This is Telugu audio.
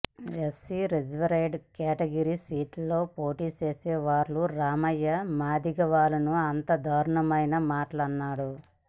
ఎస్సీ రిజర్వ్డ్ కేటగిరి సీటులో పోటీ చేసే వర్ల రామయ్య మాదిగవాళ్లను అంత దారుణమైన మాటలు అన్నాడు